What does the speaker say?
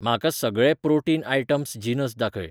म्हाका सगळे protein items जिनस दाखय.